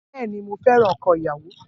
Bẹ́ẹ̀ ni, mo fẹ́ràn ọkọ ìyàwó